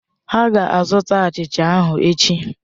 Ha ga-azụta achịcha ahụ echi.